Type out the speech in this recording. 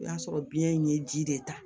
O y'a sɔrɔ biyɛn ye ji de ta